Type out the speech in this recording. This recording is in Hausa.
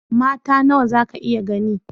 Mata nawa zaka iya gani?